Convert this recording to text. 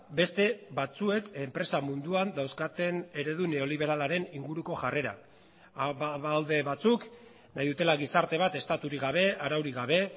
beste batzuek enpresa munduan dauzkaten eredu neoliberalaren ingurukojarrera badaude batzuk nahi dutela gizarte bat estaturik gabe araurik gabe